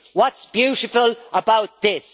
What's beautiful about this?